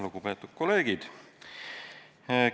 Lugupeetud kolleegid!